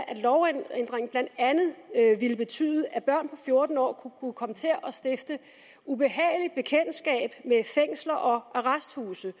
at lovændringen blandt andet ville betyde at børn på fjorten år kunne komme til at stifte ubehageligt bekendtskab med fængsler og arresthuse